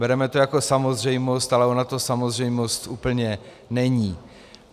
Bereme to jako samozřejmost, ale ona to samozřejmost úplně není.